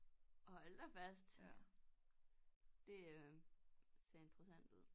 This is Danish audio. Hold da fast det øh ser interessant ud